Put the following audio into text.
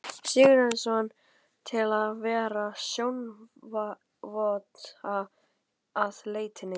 Sigurhjartarson, til að vera sjónarvotta að leitinni.